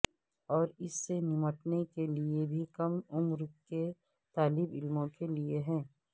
اور اس سے نمٹنے کے لئے بھی کم عمر کے طالب علموں کے لئے ہے